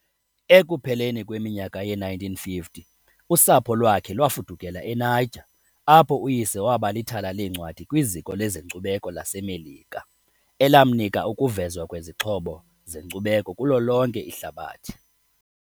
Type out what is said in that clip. Ekupheleni kweminyaka yee-1950 usapho lwakhe lwafudukela eNiger, apho uyise waba lithala leencwadi kwiZiko lezeNkcubeko laseMelika, elamnika ukuvezwa kwezixhobo zenkcubeko kulo lonke ihlabathi.